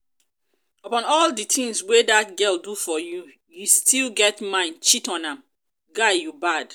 upon all the things wey dat girl do for you you still get mind cheat on am? guy you bad